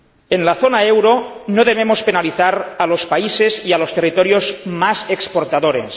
En la zona del euro no debemos penalizar a los países y a los territorios más exportadores.